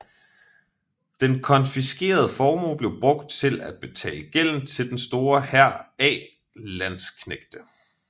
Den konfiskerede formue blev brugt til at betale gælden til den store hær af landsknægte